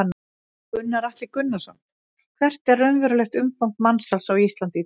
Gunnar Atli Gunnarsson: Hvert er raunverulegt umfang mansals á Íslandi í dag?